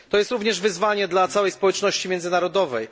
To jest również wyzwanie dla całej społeczności międzynarodowej.